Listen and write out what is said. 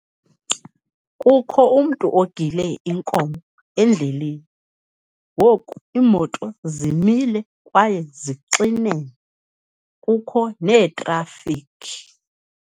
Kukho umntu ogile inkomo endleleni, ngoku iimoto zimile kwaye zixinene, kukho neetrafikhi.